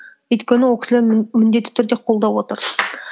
өйткені ол кісілер мені міндетті түрде қолдап отыр